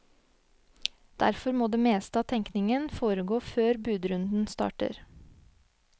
Derfor må det meste av tenkningen foregå før budrunden starter.